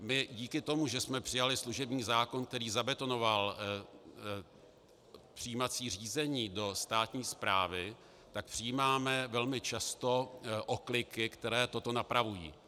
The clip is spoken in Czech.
My díky tomu, že jsme přijali služební zákon, který zabetonoval přijímací řízení do státní správy, tak přijímáme velmi často okliky, které to napravují.